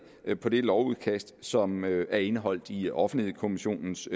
på det lovudkast som er indeholdt i offentlighedskommissionens